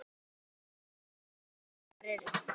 Bændur vita ekki hvar kindurnar eru